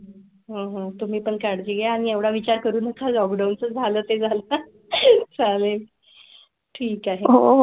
हो हो तुम्ही पण काळजी घ्या आणि एवढा विचार करू नका लॉकडाऊन झालं ते जाल का सहा वे. ठीक आहे हो.